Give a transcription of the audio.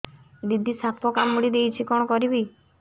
ଦିଦି ସାପ କାମୁଡି ଦେଇଛି କଣ କରିବି